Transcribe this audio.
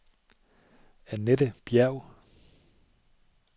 Annette Bjerg